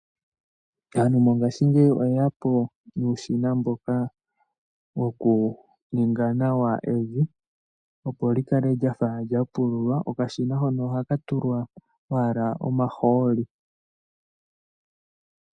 Aantu mongashingeyi oye ya po nuushina mboka wokuninga nawa evi, opo li kale lya fa lya pululwa. Okashina hono ohaka tulwa owala omahooli.